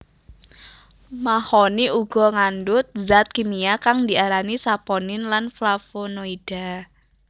Mahoni uga ngandhut zat kimia kang diarani Saponin lan flavonoida